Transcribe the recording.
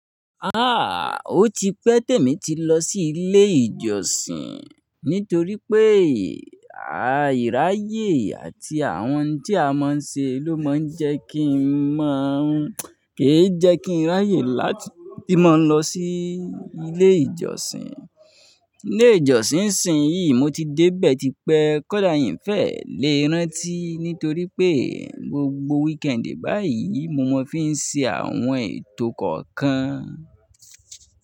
Ó ti pẹ́ tèmi ti lọ sí ilé ìjọsìn, nítorí pé àìráyè àti àwọn tí a máa ń ṣe ló máa ń jẹ́ kí n mọ́. Kì í jẹ́ kí n ráyè láti máa lọ sí ilé ìjọsìn. Ilé ìjọsìn, Ìsìn yìí mo ti dé bẹ́ẹ̀ ti pẹ́. Kódà yín fẹ́ lè rántí, nítorí pé gbogbo wíkẹ́ẹ̀dì báyìí mo máa fi ń ṣe àwọn ètò kọ̀ọ̀kan.